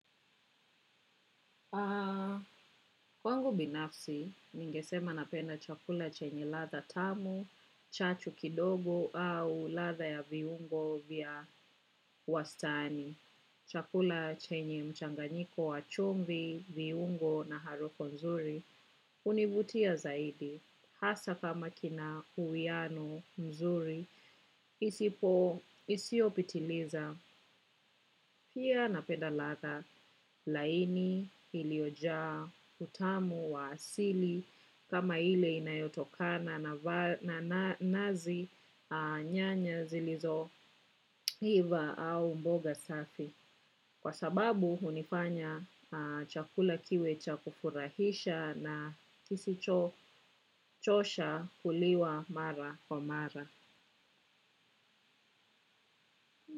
Kwangu binafsi, ningesema napenda chakula chenye ladha tamu, chachu kidogo au ladha ya viungo vya wastani. Chakula chenye mchanganyiko wa chumvi, viungo na harufu nzuri hunivutia zaidi. Hasa kama kina uwiano mzuri, isipo isiopitiliza pia napenda ladha laini iliojaa utamu wa asili kama ile inayotokana na nazi nyanya zilizoiva au mboga safi. Kwa sababu hunifanya chakula kiwe cha kufurahisha na kisicho chosha kuliwa mara kwa mara.